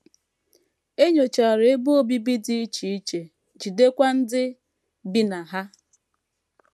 E nyochara ebe obibi dị iche iche, jidekwa ndị bi na ha.